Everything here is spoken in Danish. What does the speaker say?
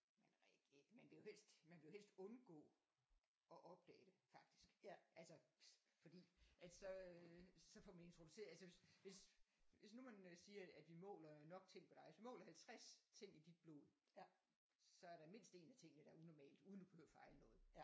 Man reagerer man vil jo helst man vil jo helst undgå at opdage det faktisk altså fordi at så øh så får man introduceret altså hvis hvis hvis nu man siger at vi måler nok ting på dig altså måler 50 ting i dit blod så er der mindst én af tingene der er unormalt uden du behøver fejle noget